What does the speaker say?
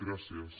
gràcies